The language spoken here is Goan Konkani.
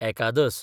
एकादस